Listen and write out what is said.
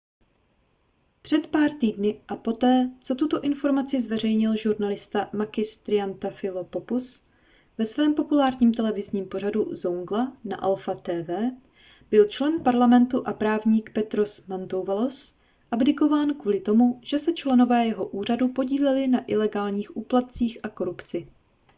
před pár týdny a poté co tuto informaci zveřejnil žurnalista makis triantafylopoulos ve svém populárním televizním pořadu zoungla na alpha tv byl člen parlamentu a právník petros mantouvalos abdikován kvůli tomu že se členové jeho úřadu podíleli na ilegálních úplatcích a korupci